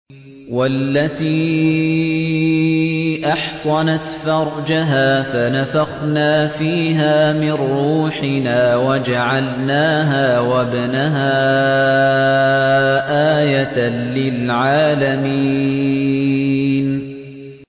وَالَّتِي أَحْصَنَتْ فَرْجَهَا فَنَفَخْنَا فِيهَا مِن رُّوحِنَا وَجَعَلْنَاهَا وَابْنَهَا آيَةً لِّلْعَالَمِينَ